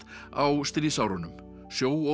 á stríðsárunum